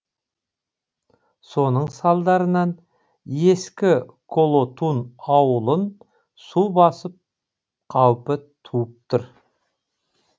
соның салдарынан ескі колотун ауылын су басу қаупі туып тұр